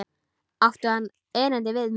Átti hann erindi við mig?